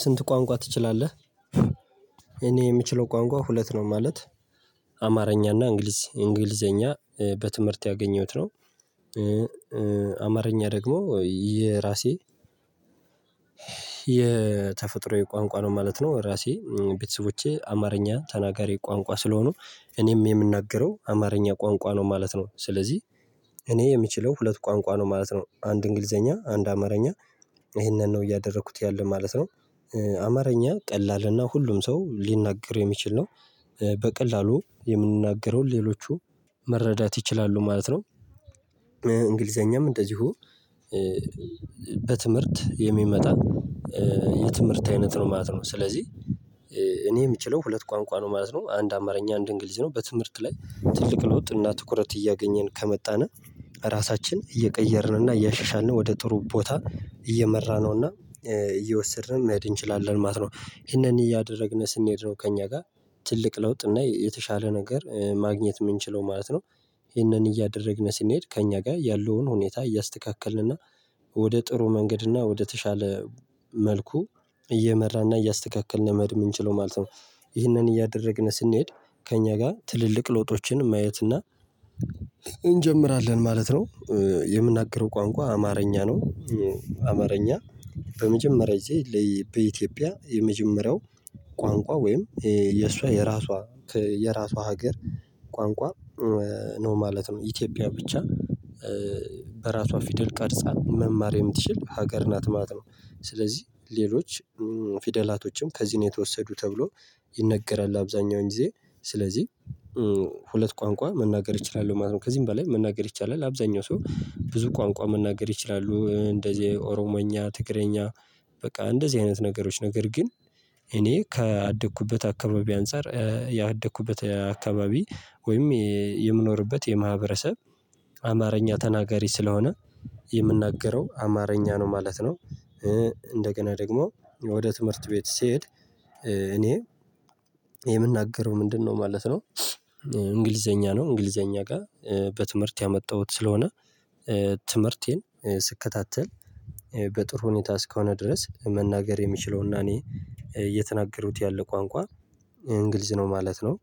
ስንት ቋንቋ ትችላለህ? እኔ የምችለው ቋንቋ ሁለት ነው ማለት አማርኛና እንግሊዝ እንግሊዘኛ በትምህርት ያገኘሁት ነው። አማርኛ ደግሞ የራሴ የተፈጥሮዬ ቋንቋ ነው ማለት ነው። ራሴ ቤተሰቦቼ አማርኛ ተናጋሪ ቋንቋ ስለሆኑ እኔም የምናገረው አማርኛ ቋንቋ ነው ማለት ነው። ስለዚህ እኔ የምችለው ሁለት ቋንቋ ነው ማለት ነው። አንድ እንግሊዘኛ አንድ አማርኛ ይሄንን ነው እያደረኩት ያለው ማለት ነው። አማርኛ ቀላልና ሁሉም ሰው ሊናገር የሚችል ነው። በቀላሉ የምንናገረው ሌሎቹ መረዳት ይችላሉ ማለት ነው። እንግሊዘኛም እንደዚሁ በትምህርት የሚመጣ የትምህርት አይነት ነው ማለት ነው። ስለዚህ እኔ የምችለው ሁለት ቋንቋ ነው ማለት ነው አንድ አማርኛ አንድ እንግሊዝ ነው። በትምህርት ላይ ትልቅ ሎጥ እና ትኩረት እያገኘን ከመጣን ራሳችን እየቀየርንና እያሻሻልን ወደ ጥሩ ቦታ እየመራነውና እየወሰድንም መሄድ እንችላለን ማለት ነው። ይሄንን እያደረግን ስንሄድ ነው ከእኛ ጋር ትልቅ ለውጥ እና የተሻለ ነገር ማግኘት የምንችለው ማለት ነው። ይሄንን እያደረግን ስንሄድ ከእኛ ጋር ያለውን ሁኔታ እያስተካከልን እና ወደ ጥሩ መንገድ እና ወደተሻለ መልኩ እየመራና እያስተካከልን መድመድ የምንችለው ማለት ነው። ይህንን እያደረግን ስንሄድ ከእኛ ጋር ትልልቅ ለውጦችን ማየት እና እንጀምራለን ማለት ነው። የምናገረው ቋንቋ አማርኛ ነው። አማርኛ በመጀመሪያ ጊዜ በኢትዮጵያ የመጀመሪያው ቋንቋ ወይም የእሷ የራሷ የራሷ ሀገር ቋንቋ ነው ማለት ነው። ኢትዮጵያ ብቻ በራሷ ፊደል ቀርጻለሁ መማር የምትችል ሀገር ናት ማለት ነው። ስለዚህ ሌሎች ፊደላቶችም ከዚህ ነው የተወሰዱ ተብሎ ይነገራል። አብዛኛውን ጊዜ ስለዚህ ሁለት ቋንቋ መናገር ይቻላል ማለት ነው። ከዚህም በላይ መናገር ይቻላል አብዛኛው ሰው ብዙ ቋንቋ መናገር ይችላሉ እንደዚህ ኦሮሞኛ ትግረኛ በቃ እንደዚህ አይነት ነገሮች ነገር ግን እኔ ከአደኩበት አካባቢ አንፃር ያደኩበት አካባቢ ወይም የምኖርበት የማህበረሰብ አማርኛ ተናጋሪ ስለሆነ የምናገረው አማርኛ ነው ማለት ነው። እንደገና ደግሞ ወደ ትምህርት ቤት ስሄድ እኔ የምናገረው ምንድነው ማለት ነው? እንግሊዘኛ ነው እንግሊዘኛ ጋር በትምህርት ያመጣሁት ስለሆነ ትምህርቴን ስከታተል በጥሩ ሁኔታ እስከሆነ ድረስ መናገር የሚችለውና እኔ እየተናገሩት ያለ ቋንቋ እንግልዝ ነው ማለት ነው።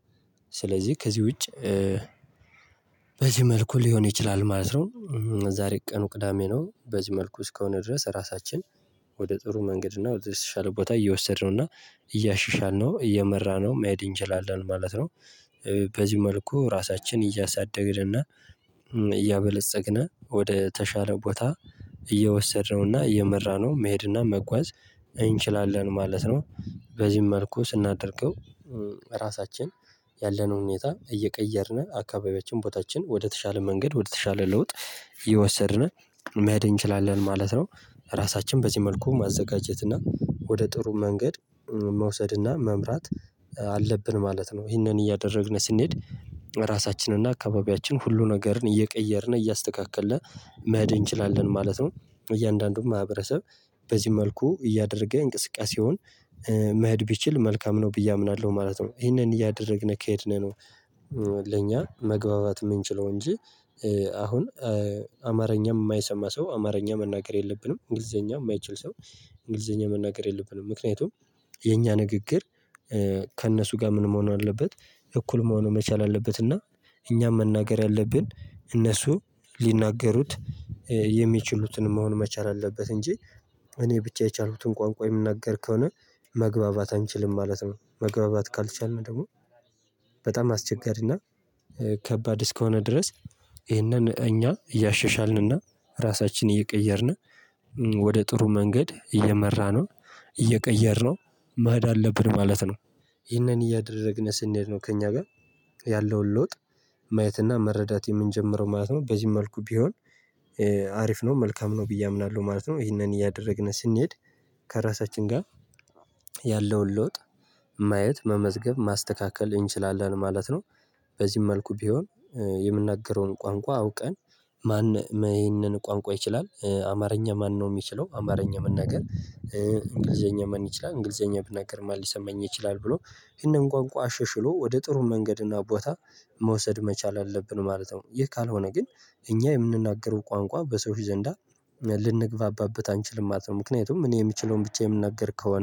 ስለዚህ ከዚህ ውጪ መልኩ ሊሆን ይችላል ማለት ነው። ዛሬ ቀኑ ቅዳሜ ነው። በዚህ መልኩ እስከሆነ ድረስ ራሳችን ወደ ጥሩ መንገድ እና ወደ ሻለ ቦታ እየወሰድነው እና እያሻሻልነው እየመራነው መሄድ እንችላለን ማለት ነው። በዚህ መልኩ ራሳችን እያሳደግን እና እያበለፀግን ወደ ተሻለ ቦታ እየወሰድነውና እየመራነው መሄድና መጓዝ እንችላለን ማለት ነው። በዚህም መልኩ ስናደርገው ራሳችን ያለነው ሁኔታ እየቀየርን አካባቢያችን ቦታችን ወደተሻለ መንገድ ወደተሻለ ለውጥ ይወሰድናል መሄድ እንችላለን ማለት ነው። ራሳችን በዚህ መልኩ ማዘጋጀት እና ወደ ጥሩ መንገድ መውሰድ እና መምራት አለብን ማለት ነው። ይሄንን እያደረግን ስንሄድ ራሳችንን እና አካባቢያችን ሁሉ ነገርን እየቀየርን እያስተካከለ መሄድ እንችላለን ማለት ነው። እያንዳንዱም ማህበረሰብ በዚህ መልኩ እያደረገ እንቅስቃሴውን መህድ ቢችል መልካም ነው ብዬ አምናለሁ ማለት ነው። ይሄንን እያደረግን ከሄድን ነው። ለኛ መግባባት የምንችለው እንጂ አሁን አማርኛ የማይሰማ ሰው አማርኛ መናገር የለብንም። እንግሊዘኛ የማይችል ሰው እንግሊዘኛ መናገር የለብንም። ምክንያቱም የኛ ንግግር ከእነሱ ጋር ምን መሆን አለበት እኩል መሆኑ መቻል አለበት። እና እኛም መናገር ያለብን እነሱ ሊናገሩት የሚችሉትን መሆን መቻል አለበት። እንጂ እኔ ብቻ የቻሉትን ቋንቋ የምናገር ከሆነ መግባባት አንችልም ማለት ነው። መግባባት ካልቻልን ደግሞ በጣም አስቸጋሪና ከባድ እስከሆነ ድረስ ይህንን እኛ እያሸሻልንና ራሳችንን እየቀየርን ወደ ጥሩ መንገድ እየመራ ነው እየቀየርነው መህድ አለብን ማለት ነው። ይህንን እያደረግን ስንሄድ ነው ከእኛ ጋር ያለውን ለውጥ ማየትና መረዳት የምንጀምረው ማለት ነው። በዚህ መልኩ ቢሆን አሪፍ ነው መልካም ነው ብዬ አምናለሁ ማለት ነው። ይሄንን እያደረግን ስንሄድ ከራሳችን ጋር ያለውን ለውጥ ማየት መመዝገብ ማስተካከል እንችላለን ማለት ነው። በዚህም መልኩ ቢሆን የምንናገረውን ቋንቋ አውቀን ማን ይሄንን ቋንቋ ይችላል? አማርኛ ማነው የሚችለው? አማርኛ የምንነግር እንግሊዘኛ ምን ይችላል? እንግሊዘኛ ብናገር ማን ሊሰማኝ ይችላል? ብሎ ይሄንን ቋንቋ ሽሽሎ ወደ ጥሩ መንገድ እና ቦታ መውሰድ መቻል አለብን ማለት ነው። ይህ ካልሆነ ግን እኛ የምንናገረው ቋንቋ በሰው ዘንዳ ልንግባባበት አንችልም ማለት ነው። ምክንያቱም እኔ የምችለውን ብቻ የምናገር ከሆነ